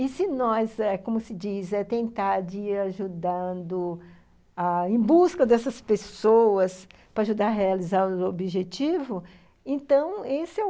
E se nós eh, como se diz, é tentar de ir ajudando, em busca dessas pessoas, para ajudar a realizar o objetivo, então esse é o...